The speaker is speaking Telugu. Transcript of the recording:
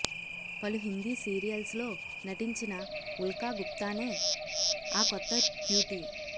పలు హిందీ సీరియల్స్లో నటించిన ఉల్కా గుప్తానే ఆ కొత్త క్యూటీ